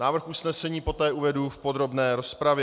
Návrh usnesení poté uvedu v podrobné rozpravě.